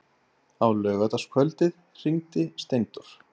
Á laugardagskvöldið hringdi Steindór.